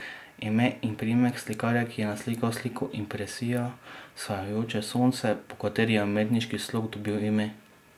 Ime in priimek slikarja, ki je naslikal sliko Impresija, vzhajajoče sonce, po kateri je umetniški slog dobil ime.